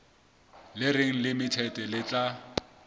le reng limited le tla